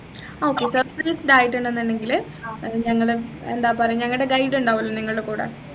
ആഹ് okay Surprised ആയിട്ടാണുന്നുണ്ടെങ്കിൽ ഞങ്ങള് എന്താപറ ഞങ്ങടെ guide ഉണ്ടാവുമല്ലോ നിങ്ങളുടെ കൂടെ